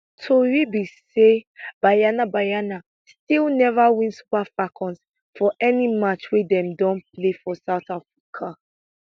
tori be say banyana banyana still neva win super falcons for any match wey dem don play for south africa